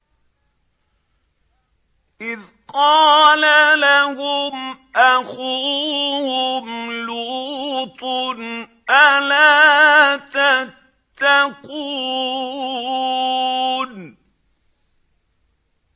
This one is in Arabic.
إِذْ قَالَ لَهُمْ أَخُوهُمْ لُوطٌ أَلَا تَتَّقُونَ